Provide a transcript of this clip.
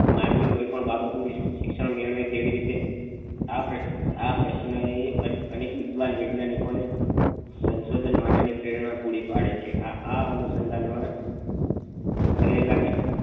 માનવી કોઈ પણ બાબત નું શિક્ષણ મેળવે કેવી રીતે આ પ્રશ્ન પ્રશ્ન એ અનેક વિધવાન વૈજ્ઞાનિકો ને સંશોધન માટે ની પ્રેરણના પૂરી પડે છે એ આ અનુસંધાન માં